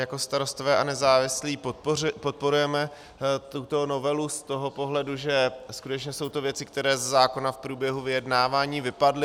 Jako Starostové a nezávislí podporujeme tuto novelu z toho pohledu, že skutečně jsou to věci, které ze zákona v průběhu vyjednávání vypadly.